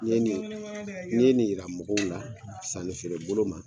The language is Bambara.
Ni ye nin ni ye nin yira mɔgɔw la sanni feerebolo ma